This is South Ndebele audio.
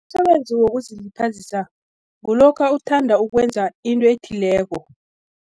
Umsebenzi wokuzilibazisa, kulokha uthanda ukwenza into ethileko.